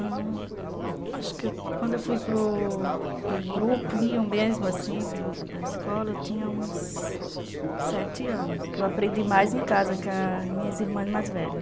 Acho que quando eu fui para o para o grupo da escola eu tinha uns sete anos, porque eu aprendi mais em casa com as minhas irmãs mais velhas.